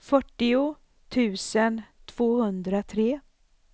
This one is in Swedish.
fyrtio tusen tvåhundratre